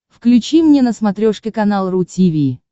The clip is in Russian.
включи мне на смотрешке канал ру ти ви